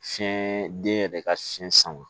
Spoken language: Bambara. Fiɲɛ den yɛrɛ ka fiɲɛ sama